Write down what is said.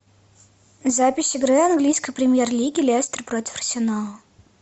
запись игры английской премьер лиги лестер против арсенала